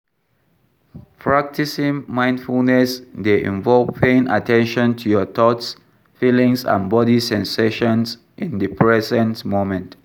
Practicing mindfulness dey involve paying at ten tion to your thoughts, feelings and body sensations in di present moment.